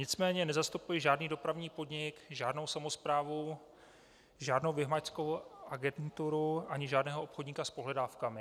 Nicméně nezastupuji žádný dopravní podnik, žádnou samosprávu, žádnou vymahačskou agenturu ani žádného obchodníka s pohledávkami.